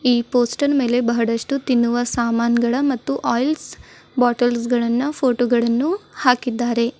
ಈ ಪೋಸ್ಟರ್ ಮೇಲೆ ಬಹಳಷ್ಟು ತಿನ್ನುವ ಸಾಮಾನುಗಳು ಮತ್ತು ಆಯಿಲ್ ಬಾಟಲ್ಸ್ ಗಳನ್ನ ಫೋಟೋ ಗಳನ್ನು ಹಾಕಿದ್ದಾರೆ.